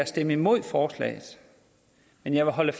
stemme imod forslaget men jeg vil holde